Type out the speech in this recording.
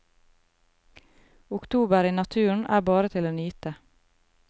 Oktober i naturen er bare til å nyte.